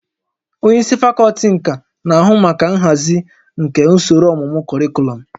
Onye isi fakọlti nka na-ahụ maka nhazi nke usoro ọmụmụ kọrịkọlọm